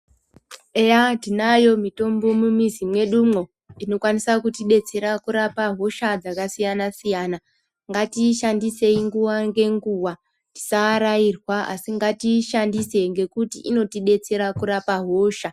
Eya tinayo mitombo mumizi mwedumwo inokwanisa kutidetsera kurapa hosha dzakasiyana siyana, ngatiishandise nguwa ngenguwa tisaarairwa asi ngatiishandise ngekuti inotodetsera kurapa hosha.